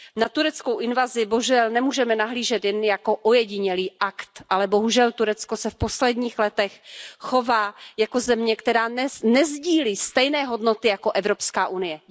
Na tureckou invazi nemůžeme nahlížet jen jako ojedinělý akt, ale bohužel Turecko se v posledních letech chová jako země, která nesdílí stejné hodnoty jako Evropská unie.